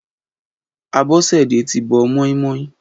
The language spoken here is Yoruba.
Abosede ti bọ̀ mọimọi